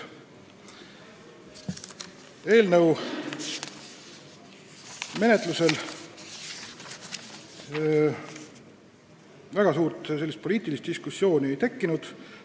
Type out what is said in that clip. Eelnõu menetlusel väga suurt poliitilist diskussiooni ei tekkinud.